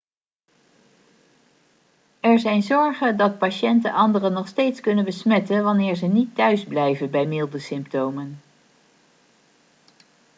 er zijn zorgen dat patiënten anderen nog steeds kunnen besmetten wanneer ze niet thuisblijven bij milde symptomen